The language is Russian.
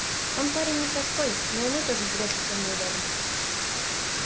он парень непростой но и мы тоже в грязь лицом не ударим